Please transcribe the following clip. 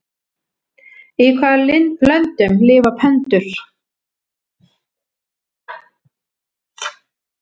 Í hvaða löndum lifa pöndur?